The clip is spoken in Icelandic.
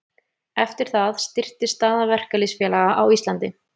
Eftir það styrktist staða verkalýðsfélaga á Íslandi.